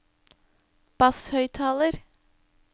basshøyttaler